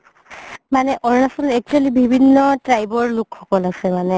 মানে আৰুণাচলত actually বিভিন্ন tribe ৰ লোক সকল আছে মানে